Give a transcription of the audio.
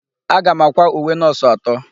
Aga m àkwá uwe nọọsụ atọ.